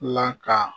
Laka